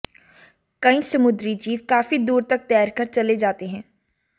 कई समुद्री जीव काफी दूर तक तैरकर चले जाते हैं